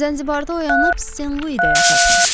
Zənzibarda oyanıb Sen-Luidə yatarsan.